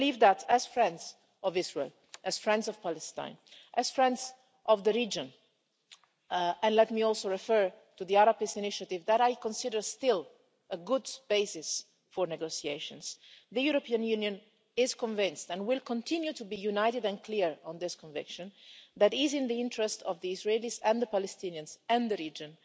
So I believe that, as friends of Israel, as friends of Palestine, and as friends of the region let me also refer to the Arab Peace Initiative that I still consider a good basis for negotiations the European Union is convinced, and will continue to be united and clear on this conviction, that it is in the interest of the Israelis, the Palestinians and the region